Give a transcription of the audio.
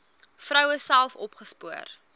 vroue self opgespoor